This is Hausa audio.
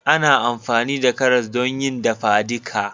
Ana amfani da karas don yi dafadika